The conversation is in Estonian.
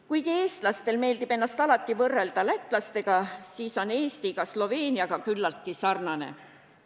Kuigi eestlastel meeldib ennast alati võrrelda lätlastega, siis on Eesti ka Sloveeniaga küllaltki sarnane.